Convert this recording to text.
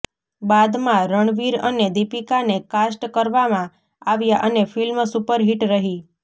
બાદમાં રણવીર અને દીપિકાને કાસ્ટ કરવામાં આવ્યા અને ફિલ્મ સુપરહિટ રહી